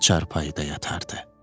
Çarpayıda yatardı.